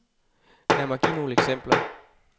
Lad mig give nogle eksempler.